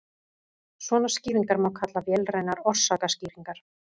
svona skýringar má kalla vélrænar orsakaskýringar